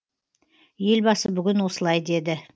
елбасы бүгін осылай деді